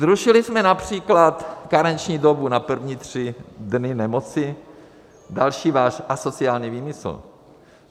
Zrušili jsme například karenční dobu na první tři dny nemoci, další váš asociální výmysl.